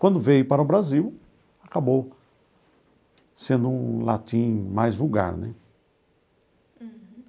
Quando veio para o Brasil, acabou sendo um latim mais vulgar, né?